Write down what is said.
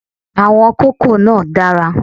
Àwọn kókò náà dára